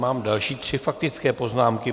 Mám další tři faktické poznámky.